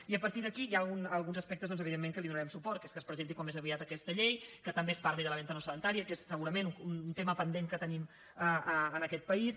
i a partir d’aquí hi ha alguns aspectes doncs evidentment que hi donarem suport que és que es presenti com més aviat aquesta llei que també es parli de la venda no sedentària que és segurament un tema pendent que tenim en aquest país